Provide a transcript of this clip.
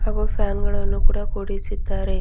ಹಾಗೂ ಫ್ಯಾನ್ ಗಳನ್ನು ಕೂಡ ಕೂಡಿಸಿದ್ದಾರೆ.